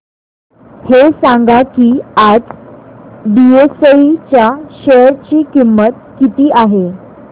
हे सांगा की आज बीएसई च्या शेअर ची किंमत किती आहे